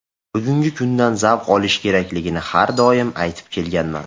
Bugungi kundan zavq olish kerakligini har doim aytib kelganman.